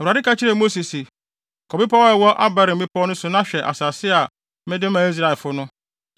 Awurade ka kyerɛɛ Mose se, “Kɔ bepɔw a ɛwɔ Abarim mmepɔw no so na hwɛ asase a mede maa Israelfo no.